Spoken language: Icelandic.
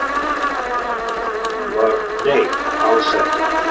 Svar hans við því var: Nei, alls ekki